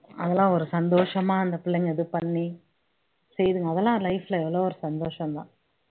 அதெல்லாம் ஒரு சந்தோஷமா அந்த பிள்ளைங்க இது பண்ணி செய்யுதுங்க அதெல்லாம் life ல எவ்ளோ ஒரு சந்தோஷம்தான்